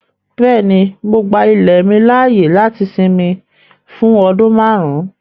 Bẹ́ẹ̀ni, mo gbà ilẹ̀ mi laaye láti sìnmì fún ọdún màárùn.